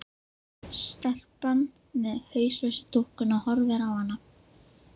Stelpan með hauslausu dúkkuna horfir á hana.